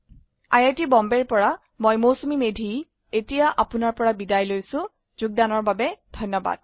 I I T Bombay ৰ পৰা মই মৌচুমী মেধী এতিয়া আপুনাৰ পৰা বিদায় লৈছো যোগদানৰ বাবে ধন্যবাদ